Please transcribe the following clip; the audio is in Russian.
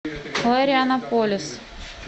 флорианополис